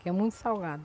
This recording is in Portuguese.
Que é muito salgado.